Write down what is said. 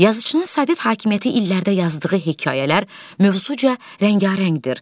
Yazıçının sovet hakimiyyəti illərdə yazdığı hekayələr mövzuca rəngarəngdir.